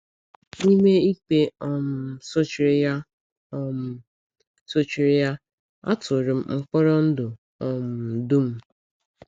N’ime ikpe um sochiri ya, um sochiri ya, a tụrụ m mkpọrọ ndụ um dum.